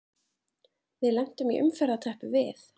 Við lentum í umferðarteppu við